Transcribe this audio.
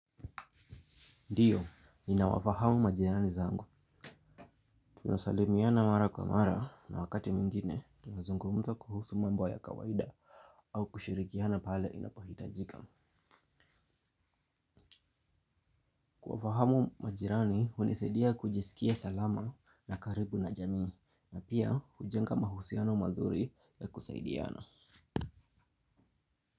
Ndiyo, niinawafahamu majirani zangu. Tunasalimiana mara kwa mara na wakati mwingine tunazungumza kuhusu mambo ya kawaida au kushirikiana pale inapohitajika. Kuwafahamu majirani, hunisaidia kujisikia salama na karibu na jamii na pia hujenga mahusiano mazuri ya kusaidiana.